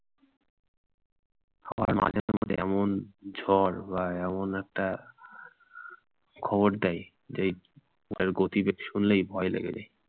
যেমন- ঝড় বা এমন একটা খবর দেয় যে তার গতিবেগ শুনলেই ভয় লাগে বেশি।